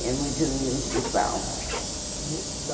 Ia muito no municipal.